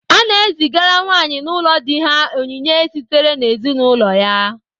A na-ezigara nwaanyị n'ụlọ di ha onyinye sitere n'ezinaụlọ ya.